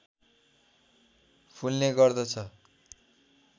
फुल्ने गर्दछ